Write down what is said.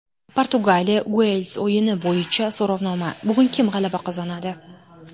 Portugaliya Uels o‘yini bo‘yicha so‘rovnoma: bugun kim g‘alaba qozonadi?.